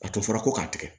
A tun fɔra ko k'a tigɛ